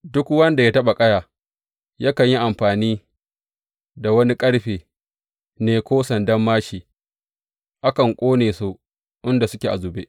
Duk wanda ya taɓa ƙaya yakan yi amfani da wani ƙarfe ne ko sandar māshi; akan ƙone su inda suke a zube.